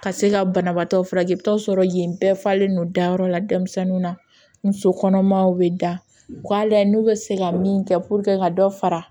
Ka se ka banabaatɔw furakɛ i bi taa sɔrɔ yen bɛɛ falen don da yɔrɔ la denmisɛnninw na muso kɔnɔmaw be da u ka lajɛ n'u be se ka min kɛ pururuke ka dɔ fara